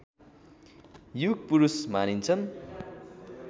युगपुरूष मानिन्छन्